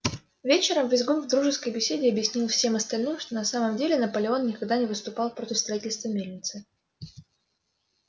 вечером визгун в дружеской беседе объяснил всем остальным что на самом деле наполеон никогда не выступал против строительства мельницы